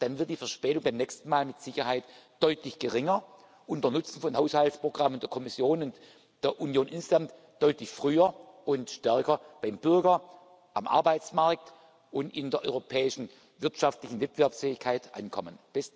Dann wird die Verspätung beim nächsten Mal mit Sicherheit deutlich geringer und der Nutzen von Haushaltsprogrammen der Kommission und der Union insgesamt deutlich früher und stärker beim Bürger, am Arbeitsmarkt und in der europäischen wirtschaftlichen Wettbewerbsfähigkeit ankommen.